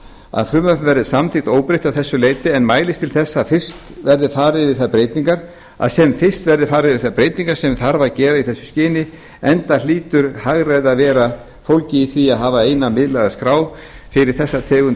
að frumvarpið verði samþykkt óbreytt að þessu leyti en mælist til þess að sem fyrst verði farið yfir þær breytingar sem þarf að gera í þessu skyni enda hlýtur hagræði að vera fólgið í því að hafa eina miðlæga skrá fyrir þessa tegund